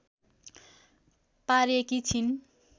पारेकी छिन्